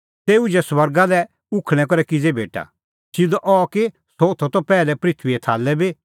तेऊए उझै स्वर्गा लै उखल़णैं करै किज़ै भेटा सिधअ अह कि सह होथअ त पैहलै पृथूईए थाल्लै बी